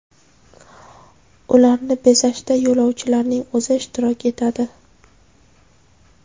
Ularni bezashda yo‘lovchilarning o‘zi ishtirok etadi.